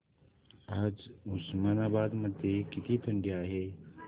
आज उस्मानाबाद मध्ये किती थंडी आहे